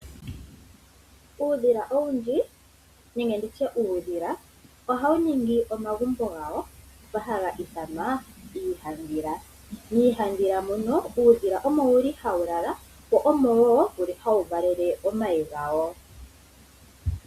Uudhila owundji nenge nditye uudhila ohawu ningi omagumbo gawo ngoka haga ithanwa iihandhila. Miihandhila mono uudhila omo wuli hawu lala, mo omo wo wuli hawu valele omayi gawo.